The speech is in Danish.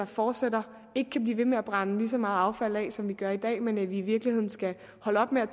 fortsætter ikke kan blive ved med at brænde lige så meget affald af som vi gør i dag men at vi i virkeligheden skal holde op med at